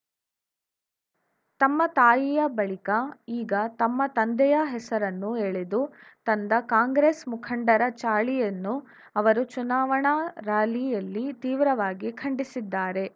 ತಮ್ಮ ತಾಯಿಯ ಬಳಿಕ ಈಗ ತಮ್ಮ ತಂದೆಯ ಹೆಸರನ್ನೂ ಎಳೆದು ತಂದ ಕಾಂಗ್ರೆಸ್‌ ಮುಖಂಡರ ಚಾಳಿಯನ್ನು ಅವರು ಚುನಾವಣಾ ರಾಲಿಯಲ್ಲಿ ತೀವ್ರವಾಗಿ ಖಂಡಿಸಿದ್ದಾರೆ